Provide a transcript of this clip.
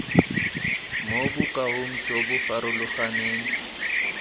mo bokaong jo bo farologaneng